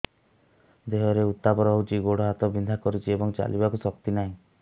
ଦେହରେ ଉତାପ ରହୁଛି ଗୋଡ଼ ହାତ ବିନ୍ଧା କରୁଛି ଏବଂ ଚାଲିବାକୁ ଶକ୍ତି ନାହିଁ